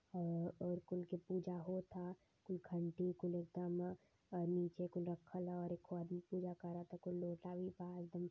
और और कुल के पूजा होता कुल घंटी कुल और निचे कुल रखल ह अउरी क आदमी पूजा करता कुल लोटा भी बा एकदम --